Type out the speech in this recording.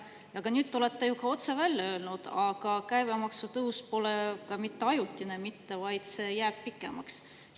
Ja nüüd te olete ju ka otse välja öelnud, et käibemaksu tõus pole mitte ajutine, vaid see jääb pikemaks ajaks.